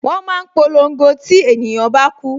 Wọn máa ń polongo tí ènìyàn bá ku